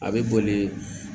A bɛ boli